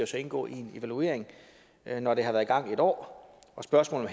så indgå i en evaluering når det har været i gang i et år og spørgsmålet